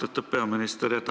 Austatud peaminister!